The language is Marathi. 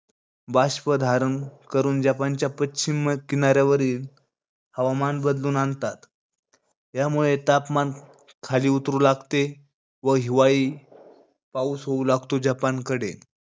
बाष्प धारण करून, जपानच्या पश्चिम किनाऱ्यावरील हवामान बदलून आणतात. यामुळे तापमान खाली उतरू लागते. व हिवाळी पाऊस होऊ लागतो जपानकडे.